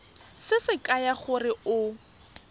se se kaya gore o